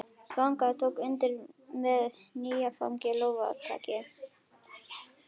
Þvagan tók undir með dynjandi lófataki.